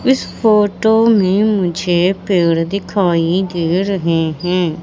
इस फोटो में मुझे पेड़ दिखाई दे रहे हैं।